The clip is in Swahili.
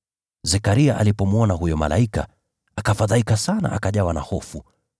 Zekaria alipomwona huyo malaika, akafadhaika sana, akajawa na hofu.